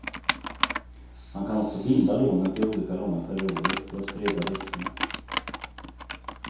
Man kan också binda lånet i olika långa perioder för att sprida riskerna.